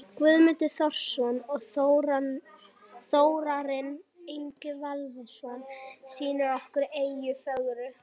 Guðmundur Þórarinsson og Þórarinn Ingi Valdimarsson sýna okkur eyjuna fögru.